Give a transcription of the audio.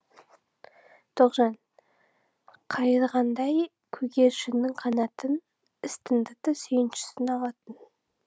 тоғжан қайырғандай көгершіннің қанатын іс тындырды сүйіншісін алатын